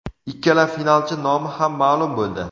Ikkala finalchi nomi ham ma’lum bo‘ldi.